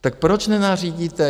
Tak proč nenařídíte...?